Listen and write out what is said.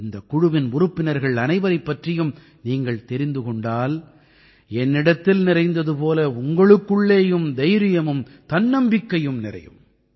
இந்தக் குழுவின் உறுப்பினர்கள் அனைவரைப் பற்றியும் நீங்கள் தெரிந்து கொண்டால் என்னிடத்தில் நிறைந்தது போலவே உங்களுக்குள்ளேயும் தைரியமும் தன்னம்பிக்கையும் நிறையும்